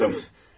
Mən yaptım.